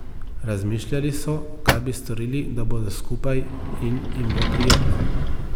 Razmišljali so, kaj bi storili, da bodo skupaj in jim bo prijetno.